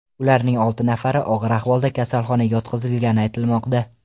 Ularning olti nafari og‘ir ahvolda kasalxonaga yotqizilgani aytilmoqda.